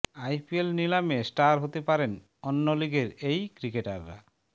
IPL নিলামে star হতে পারেন অন্য লিগের এই ক্রিকেটাররা